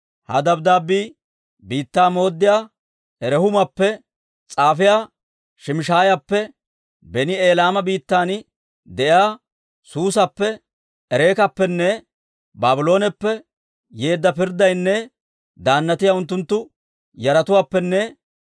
«Ha dabddaabbii biittaa mooddiyaa Rehuumappe, s'aafiyaa Shimshshaayappe, beni Elaama biittan de'iyaa Suusappe, Ereekappenne Baablooneppe yeedda pirddiyaanne daannatiyaa unttunttu yaratuwaappenne